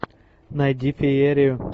найди феерию